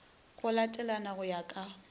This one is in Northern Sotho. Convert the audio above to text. go latelana go ya ka